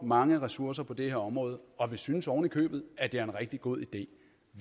mange ressourcer på det her område og vi synes oven i købet at det er en rigtig god idé